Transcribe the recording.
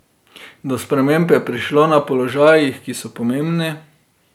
Do sprememb je prišlo na položajih, ki so pomembni.